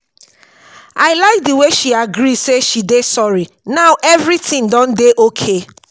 i like the way she agree say she dey sorry now everything don dey okay.